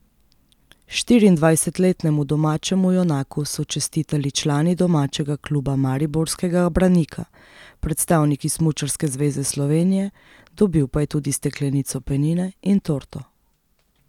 Štiriindvajsetletnemu domačemu junaku so čestitali člani domačega kluba mariborskega Branika, predstavniki Smučarske zveze Slovenije, dobil pa je tudi steklenico penine in torto.